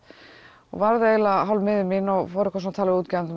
og varð eiginlega hálf miður mín og fór að tala við útgefanda